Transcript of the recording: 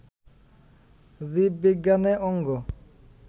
জীববিজ্ঞানে অঙ্গ